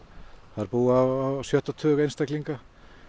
þar búa á sjötta tug einstaklinga